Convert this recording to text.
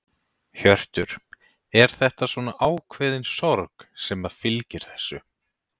Hjörtur: Er þetta svona ákveðin sorg sem að fylgir þessu?